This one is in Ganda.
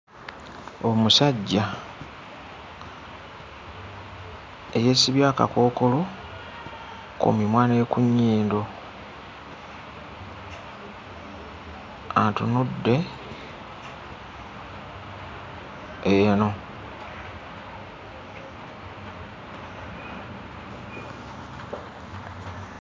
Omusajja eyeesibye akakookolo ku mimwa ne ku nnyindo atunudde eno.